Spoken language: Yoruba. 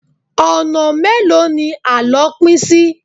Ọ̀nà mélòó ni àlọ́ pín sí?